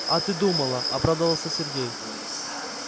а ты думала обрадовался сергей